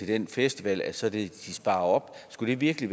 den festival så de sparer op skulle det virkelig